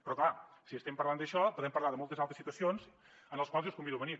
però clar si estem parlant d’això podem parlar de moltes altres situacions en les quals jo els convido a venir